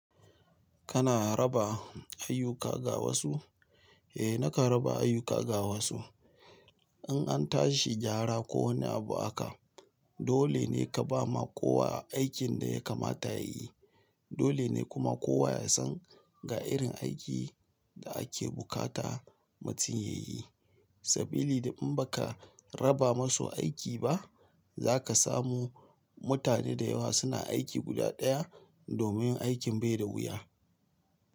Kana raba ayyuka ga wasu? Eh, nakan raba ayyuka ga wasu. In an tashi gyara ko wani abu haka, dole ne ka ba ma kowa aikin da ya kamata ya yi. Dole ne kuma kowa ya san ga irin aikin da ake bukata mutum ya yi. Sabili da in ba ka raba masu aiki ba, za ka samu mutane da yawa suna aiki guda ɗaya domin aikin bai da wuya.